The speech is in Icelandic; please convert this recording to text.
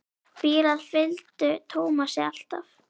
Bílar fylgdu Tómasi alltaf.